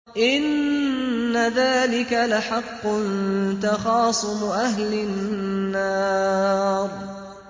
إِنَّ ذَٰلِكَ لَحَقٌّ تَخَاصُمُ أَهْلِ النَّارِ